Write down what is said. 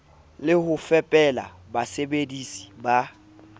le ho fepela basebedisi ba